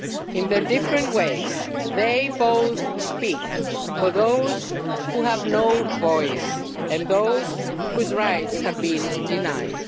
In their different ways, they both speak for those who have no voice and those whose rights have been denied.